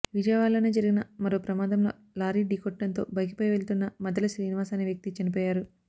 విజయవాడలోనే జరిగిన మరో ప్రమాదంలో లారీ ఢీకొట్టడంతో బైకుపై వెళ్తున్న మద్దెల శ్రీనివాస్ అనే వ్యక్తి చనిపోయారు